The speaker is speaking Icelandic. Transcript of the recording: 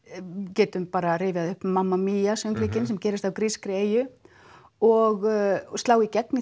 getum rifjað upp mamma Mia sem gerist á grískri eyju og slá í gegn í